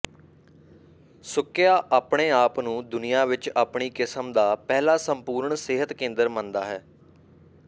ਸੁਕਿਆ ਆਪਣੇ ਆਪ ਨੂੰ ਦੁਨੀਆ ਵਿਚ ਆਪਣੀ ਕਿਸਮ ਦਾ ਪਹਿਲਾ ਸੰਪੂਰਨ ਸਿਹਤ ਕੇਂਦਰ ਮੰਨਦਾ ਹੈ